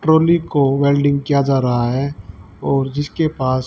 trolley को welding किया जा रहा है और जिसके पास --